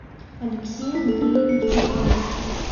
алексей андреевич белоус